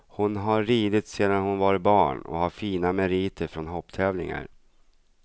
Hon har ridit sedan hon var barn och har fina meriter från hopptävlingar.